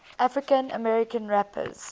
african american rappers